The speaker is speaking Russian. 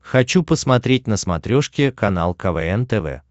хочу посмотреть на смотрешке канал квн тв